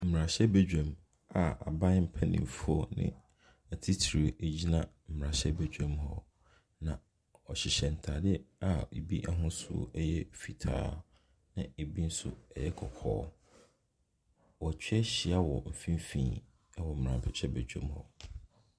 Mmrahyɛbedwam a aban mpanyinfoɔ atitiriw egyina mmrahyɛbedwam hɔ. Na wɔhyehyɛ ntaade a ebi ahosuo ɛyɛ fitaa na ebi nso ɛyɛ kɔkɔɔ. Woatwa ahyia wɔ mfimfini ɛwɔ mmrahyɛbedwam hɔ.